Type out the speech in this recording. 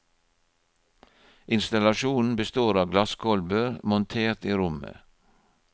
Installasjonen består av glasskolber montert i rommet.